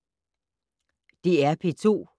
DR P2